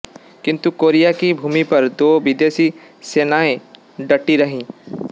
किन्तु कोरिया की भूमि पर दो विदेशी सेनाएँ डटी रहीं